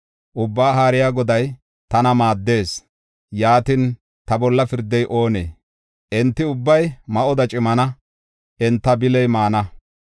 Ubbaa Haariya Goday tana maaddees; yaatin, ta bolla pirdey oonee? Enti ubbay ma7oda cimana; enta bili maana.